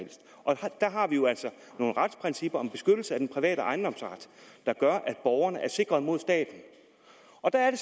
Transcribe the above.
nogle retsprincipper om en beskyttelse af den private ejendomsret der gør at borgerne er sikret mod staten og der er det